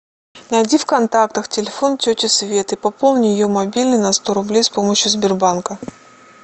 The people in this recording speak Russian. найди в контактах телефон тети светы пополни ее мобильный на сто рублей с помощью сбербанка